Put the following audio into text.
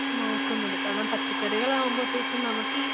നോക്കുന്നത്. കാരണം, പച്ചക്കറികളാകുമ്പോഴത്തേക്കും നമുക്കീ